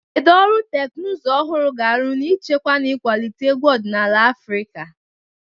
Kedu ọrụ teknụzụ ọhụrụ ga-arụ n'ichekwa na ịkwalite egwu ọdịnala Afrika?